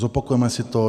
Zopakujeme si to.